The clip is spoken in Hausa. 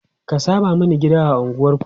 ka Sama Mani gida a unguwanku!